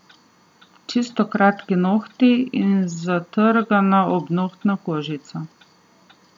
Čisto kratki nohti in zatrgana obnohtna kožica.